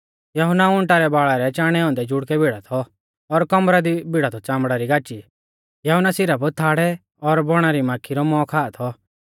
यहुन्ना ऊंटा रै बाल़ा रै चाणै औन्दै जुड़कै भिड़ा थौ और कमरा दी भिड़ा थौ च़ामड़ा री गाची यहुन्ना सिरफ थाड़ै और बौणा री माक्खी रौ मौ खा थौ